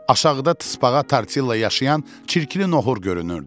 Aşağıda tısbağa Tortilla yaşayan çirkli nohər görünürdü.